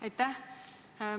Aitäh!